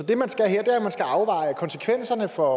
det man skal her er at man skal afveje konsekvenserne for